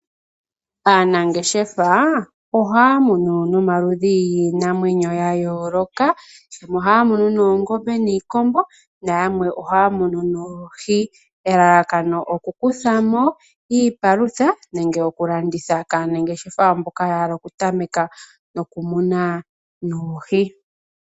Aanangeshefa ohaamunu nomaludhi giinamwenyo yayooloka , nohaamunu noongobe, niikombo nayamwe ohaya munu noohi elalakano okukuthamo iipalutha nenge okulanditha kaanangeshefa mboka yahala okutameka nokumuna oohi.